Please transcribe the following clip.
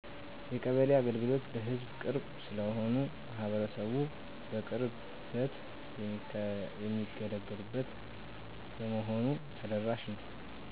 የቀበሌ አገልግሎቶች ለሕዝብ ቅርብ ስለሆኑ ማህበረሰቡ በቅርበት የሚገለገሉበት በመሆኑ ተደራሽ ነው።